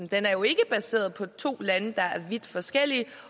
den er jo ikke baseret på to lande der er vidt forskellige